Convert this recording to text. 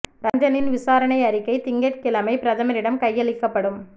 ரஞ்சனின் விசாரணை அறிக்கை திங்கட் கிழமை பிரதமரிடம் கையளிக்கப்படும்